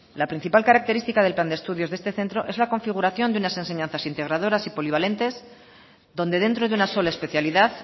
la principal característica del plan de estudios de este centro es la configuración de unas enseñanzas integradoras y polivalentes donde dentro de una sola especialidad